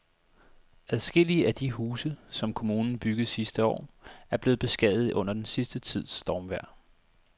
Adskillige af de huse, som kommunen byggede sidste år, er blevet beskadiget under den sidste tids stormvejr.